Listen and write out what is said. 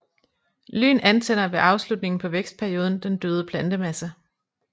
Lyn antænder ved afslutningen på vækstperioden den døde plantemasse